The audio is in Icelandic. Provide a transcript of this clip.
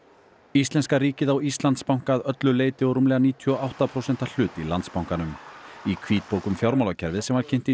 íslenska ríkið á Íslandsbanka að öllu leyti og rúmlega níutíu og átta prósenta hlut í Landsbankanum í hvítbók um fjármálakerfið sem var kynnt í